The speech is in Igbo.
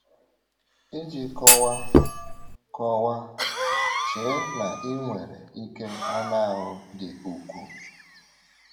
Iji kọwaa: kọwaa: Chee na ị nwere ike anụ ahụ dị ukwuu.